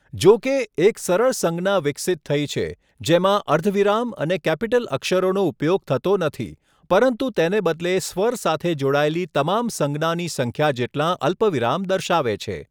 જોકે, એક સરળ સંજ્ઞા વિકસિત થઈ છે, જેમાં અર્ધવિરામ અને કેપિટલ અક્ષરોનો ઉપયોગ થતો નથી, પરંતુ તેને બદલે સ્વર સાથે જોડાયેલી તમામ સંજ્ઞાની સંખ્યા જેટલાં અલ્પવિરામ દર્શાવે છે.